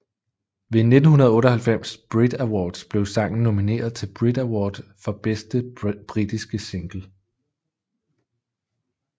Ved 1998 Brit Awards blev sangen nomineret til Brit Award for Bedste Britiske Single